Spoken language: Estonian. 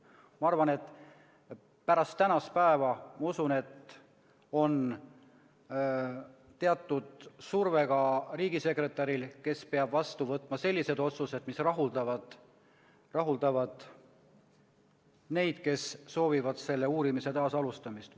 Ma arvan, et pärast tänast päeva on teatud surve ka riigisekretäril, kes peab vastu võtma sellised otsused, mis rahuldavad neid, kes soovivad selle uurimise taasalustamist.